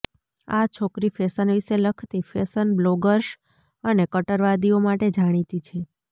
આ છોકરી ફેશન વિશે લખતી ફેશન બ્લોગર્સ અને કટ્ટરવાદીઓ માટે જાણીતી છે